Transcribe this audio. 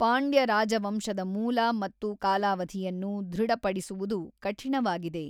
ಪಾಂಡ್ಯ ರಾಜವಂಶದ ಮೂಲ ಮತ್ತು ಕಾಲಾವಧಿಯನ್ನು ಧೃಡಪಡಿಸುವುದು ಕಠಿಣವಾಗಿದೆ.